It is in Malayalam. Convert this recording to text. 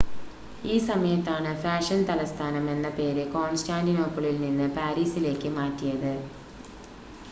ഈ സമയത്താണ് ഫാഷൻ തലസ്ഥാനം എന്ന പേര് കോൺസ്റ്റാൻ്റിനോപ്പിളിൽ നിന്ന് പാരീസിലേക്ക് മാറ്റിയത്